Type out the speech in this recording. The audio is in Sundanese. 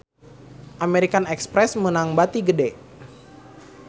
American Express meunang bati gede